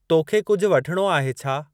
तोखे कुझु वठणो आहे छा?